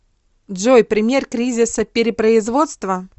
джой пример кризиса перепроизводства